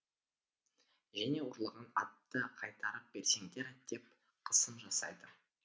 және ұрлаған атты қайтарып берсеңдер деп қысым жасайды